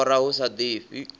u lora hu sa ḓifhi